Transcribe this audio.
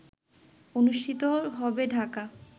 অনুষ্ঠিত হবে ঢাকা